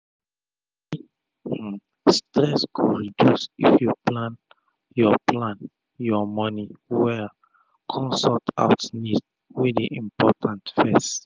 moni stress go reduce if u plan ur plan ur moni well kon sort out needs wey dey important fess